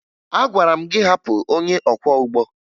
Agwara m gị hapụ onye ọkwọụgbọ!